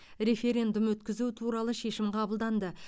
референдум өткізу туралы шешім қабылданды